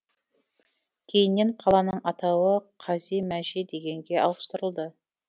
кейіннен қаланың атауы қази мәжи дегенге ауыстырылды